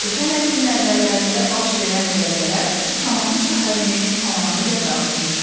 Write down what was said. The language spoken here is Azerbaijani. Ötən əsrin əvvəllərində baş verən zəlzələ Şamaxı şəhərini tamamilə dağıtmışdı.